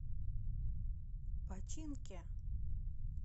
починке